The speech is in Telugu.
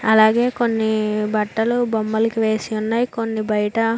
అలాగే కొన్ని బట్టలు బొమ్మలు వేసి ఉన్నాయి. కొన్ని బయట --